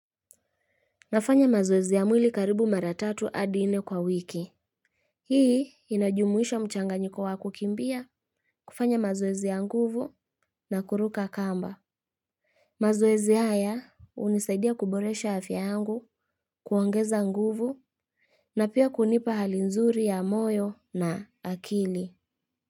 Nafanya mazoezi ya mwili karibu mara tatu hadi nne kwa wiki. Hii inajumuisha mchanganyiko wa kukimbia kufanya mazoezi ya nguvu na kuruka kamba. Mazoezi haya hunisaidia kuboresha afya yangu kuongeza nguvu. Na pia kunipa hali nzuri ya moyo na akili.